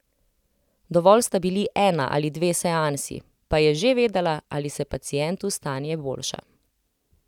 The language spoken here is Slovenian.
Dovolj sta bili ena ali dve seansi, pa je že vedela, ali se pacientu stanje boljša.